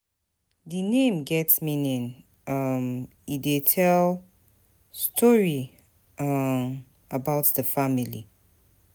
Di name get meaning, um e dey tell story um about di family.